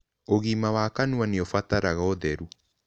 Ũgima wa kanũa nĩũbataraga ũtherũ